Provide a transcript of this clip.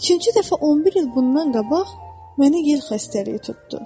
Üçüncü dəfə 11 il bundan qabaq mənə yer xəstəliyi tutdu.